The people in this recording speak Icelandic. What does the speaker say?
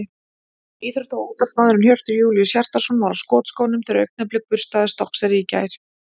Íþrótta- og útvarpsmaðurinn Hjörtur Júlíus Hjartarson var á skotskónum þegar Augnablik burstaði Stokkseyri í gær.